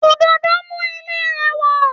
Òdòdó mú ilé rẹwà